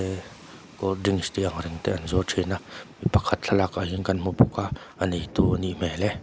cold drinks tih ang reng te an zuar thin a mipakhat thlalakah hian kan hmu bawk a a neitu a nih hmel e.